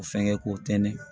O fɛngɛ k'o tɛntɛn